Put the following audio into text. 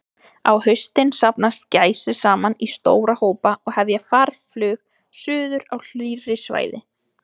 Á haustin safnast gæsir saman í stóra hópa og hefja farflug suður á hlýrri svæði.